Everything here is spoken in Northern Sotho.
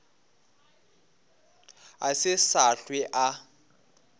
a se sa hlwe a